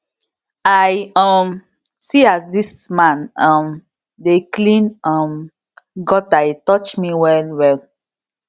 i um see as dis man um dey clean um gutter e touch me wellwell